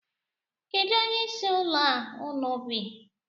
Kedu onyeisi ụlọ a unu bi?